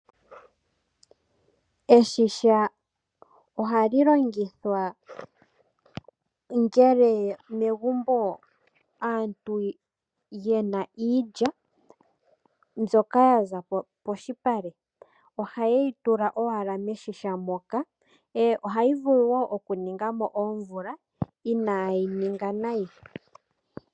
Eshisha ohali longithwa ngele megumbo aantu yena iilya mbyoka yaza polupale. Oha yeyi tula owala meshisha moka, ohayi vulu wo oku ninga mo oomvula inayi ninga nayi.